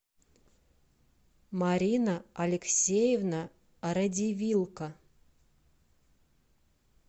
марина алексеевна радивилко